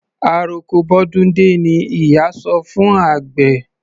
Àroko bọ́dún dé ni ìyá sọ fún àgbẹ̀.